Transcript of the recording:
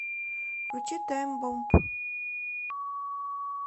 включи тайм бомб